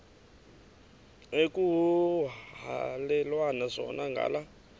ekuhhalelwana zona ngala